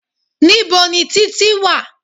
Níbo ni Títí wà?